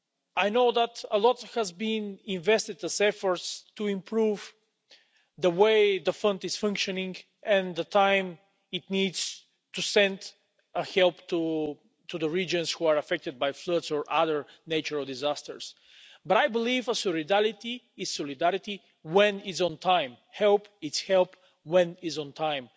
I know that a lot has been invested in efforts to improve the way the Fund is functioning and the time it needs to send help to the regions that are affected by floods or other natural disasters, but I believe solidarity is solidarity when it is in time. Help is help when it's in time.